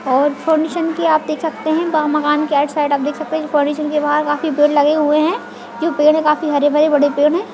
और की आप देख सकते है मक मकान के आउट साइड आप देख सकते है काफी पेड़ लगे हुए है जो पेड़ है जो काफी हरे - भरे बड़े पेड़ है।